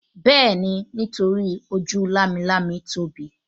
Bẹ́ẹ̀ni, nítorí ojú lámilámi tóbi